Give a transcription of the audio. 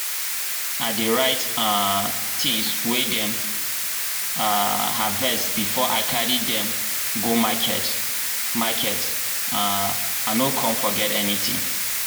i dey write um things wey dem um harvest before i carry dim go market market um i no con forget anything.